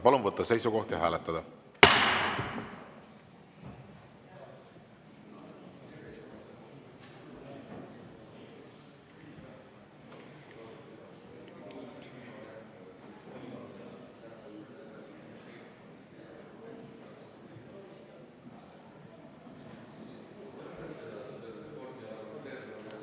Palun võtta seisukoht ja hääletada!